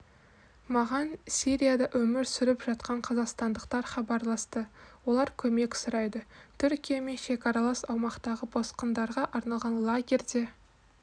маған сирияда өмір сүріп жатқан қазақстандықтар хабарласты олар көмек сұрайды түркиямен шекаралас аумақтағы босқындарға арналған лагерьде